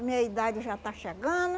Minha idade já está chegando.